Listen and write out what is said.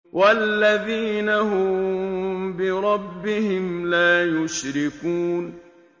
وَالَّذِينَ هُم بِرَبِّهِمْ لَا يُشْرِكُونَ